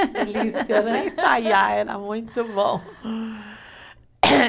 ensaiar era muito bom.